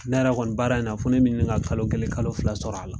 Ne yɛrɛ kɔni baara in fo ne bɛ ɲini ka kalo kelen kalo fila sɔrɔ a la.